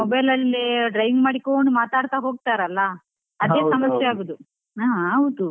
Mobile ಅಲ್ಲಿ driving ಮಾಡ್ಕೊಂಡು ಮಾತಾಡ್ತಾ ಹೋಗ್ತಾರಲ್ಲ ಸಮಸ್ಯೆ ಆಗೋದು, ಹ ಹೌದು.